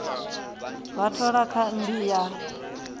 vha thola kha mmbi ya